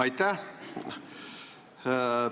Aitäh!